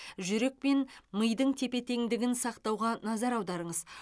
жүрек пен мидың тепе теңдігін сақтауға назар аударыңыз